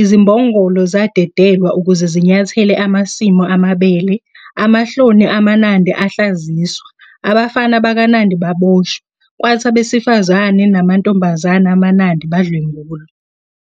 Izimbongolo zadedelwa ukuze zinyathele amasimu amabele, amahloni amaNandi ahlaziswa, abafana bakaNandi baboshwa, kwathi abesifazane namantombazane amaNandi badlwengulwa.